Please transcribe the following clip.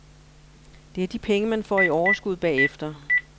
Det er de penge, man får i overskud bagefter.